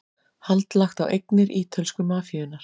Hald lagt á eignir ítölsku mafíunnar